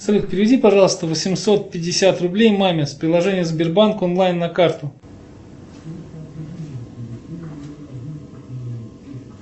салют переведи пожалуйста восемьсот пятьдесят рублей маме с приложения сбербанк онлайн на карту